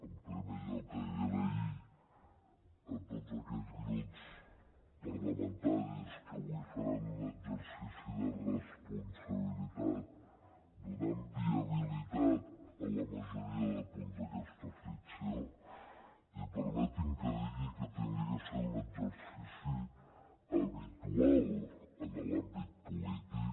en primer lloc donar les gràcies a tots aquells grups parlamentaris que avui faran un exercici de responsabilitat donant viabilitat a la majoria de punts d’aquesta moció i permeti’m que digui que hauria de ser un exercici habitual en l’àmbit polític